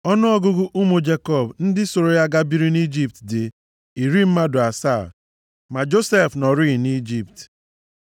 Ọnụọgụgụ ụmụ Jekọb ndị sooro ya gaa biri nʼIjipt dị iri mmadụ asaa. Ma Josef nọrịị nʼIjipt.